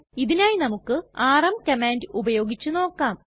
ഇതിനായി നമുക്ക് rm command ഉപയോഗിച്ച് നോക്കാം